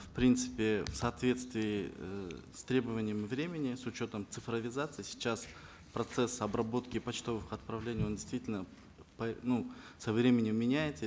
в принципе в соответствии э с требованием времени с учетом цифровизации сейчас процесс обработки почтовых отправлений он действительно ну со временем меняется